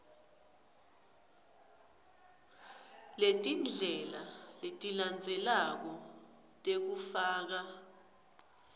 letindlela letilandzelako tekufaka